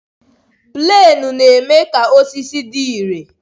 Plenu na-eme ka osisi dị ire